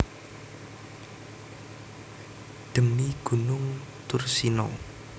Dhemi gunung Thursina